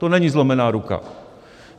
To není zlomená ruka.